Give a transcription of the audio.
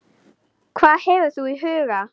Hvað hefur þú í huga?